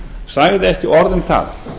sagði ekki orð um það